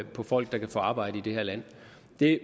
folk kan få arbejde i det her land